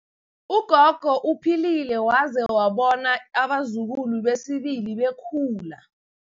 Ugogo uphilile waze wabona abazukulu besibili bekhula.